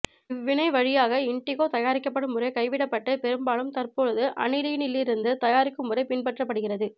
இவ்வினை வழியாக இண்டிகோ தயாரிக்கப்படும் முறை கைவிடப்பட்டு பெரும்பாலும் தற்பொழுது அனிலீனிலிருந்து தயாரிக்கும் முறை பின்பற்றப்படுகிறது